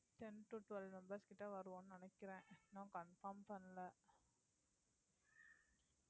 ten to twelve members கிட்ட வருவோம்ன்னு நினைக்கறேன் இன்னும் confirm பண்ணல